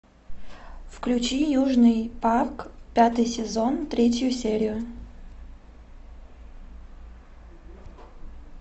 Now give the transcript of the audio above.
включи южный парк пятый сезон третью серию